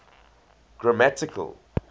grammatical